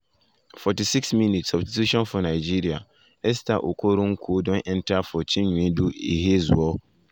46’ substitution for nigeria esther nigeria esther okoronkwo don enta for chinwendu ihezuo.